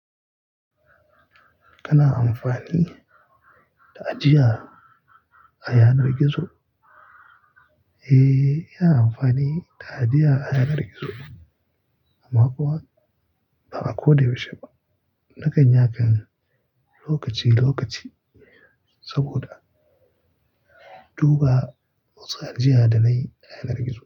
Kana amfani da ajiya a yanar gizo? Eh, ina amfani da ajiya a yanar gizo. Amma kuma ba a koda yaushe ba. Nakan yanke lokaci lokaci saboda duba wasu ajiya da nai a yanar gizo.